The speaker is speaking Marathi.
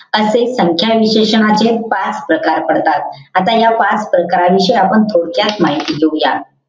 असे संख्या विशेषणाचे पाच प्रकार पडतात. आता या पाच प्रकारांची आपण थोडक्यात माहिती घेऊया.